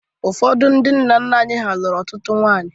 Ụfọdụ ndị nna nna anyị ha lụrụ ọtụtụ ụmụ nwaanyị